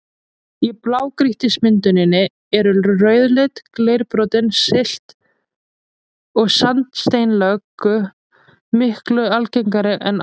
Í blágrýtismynduninni eru rauðleit, leirborin silt- og sandsteinslög miklu algengari en árset.